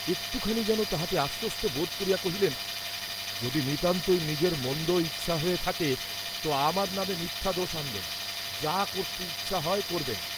একটুখানি যেন তাহাতে আশ্বস্ত বোধ করিয়া কহিলেন, যদি নিতান্তই নিজের মন্দ করতে ইচ্ছা হয়ে থাকে ত আমার নামে মিথ্যা দোষ আনবেন, যা করতে ইচ্ছা হয় করবেন।